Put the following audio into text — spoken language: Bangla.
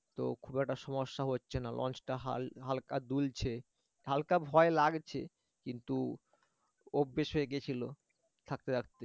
তো খুব একটা সমস্যা হচ্ছে না লঞ্চ টা হাল হালকা দুলছে হালকা ভয় লাগছে কিন্তু অভ্যাস হয়ে গেছিল থাকতে থাকতে